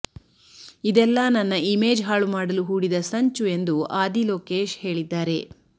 ಇದೆಲ್ಲಾ ನನ್ನ ಇಮೇಜ್ ಹಾಳು ಮಾಡಲು ಹೂಡಿದ ಸಂಚು ಎಂದು ಆದಿ ಲೋಕೇಶ್ ಹೇಳಿದ್ದಾರೆ